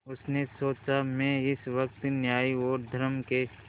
उसने सोचा मैं इस वक्त न्याय और धर्म के